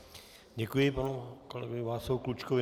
Děkuji panu kolegovi Václavu Klučkovi.